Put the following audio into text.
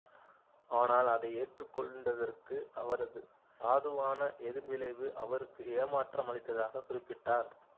ஆனால் அதை ஏற்றுக்கொண்டதற்கு அவரது சாதுவான எதிர்விளைவு அவருக்கு ஏமாற்றம் அளித்ததாகக் குறிப்பிட்டார்